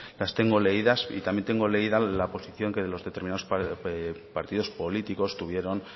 las tengo leídas y también tengo leída la posición que los determinado partidos políticos tuvieron